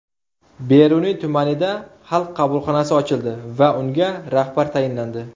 Beruniy tumanida Xalq qabulxonasi ochildi va unga rahbar tayinlandi.